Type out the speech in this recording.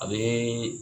A bɛ